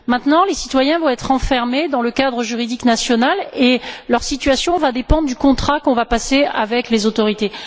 Désormais, les citoyens vont être enfermés dans le cadre juridique national et leur situation dépendra du contrat qu'on va passer avec les autorités.